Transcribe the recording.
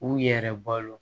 U yɛrɛ balo